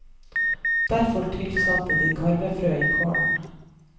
Derfor tilsatte de karvefrø i kålen.